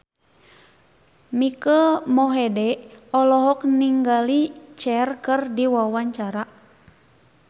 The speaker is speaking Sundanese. Mike Mohede olohok ningali Cher keur diwawancara